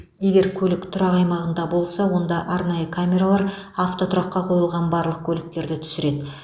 егер көлік тұрақ аймағында болса онда арнайы камералар автотұраққа қойылған барлық көліктерді түсіреді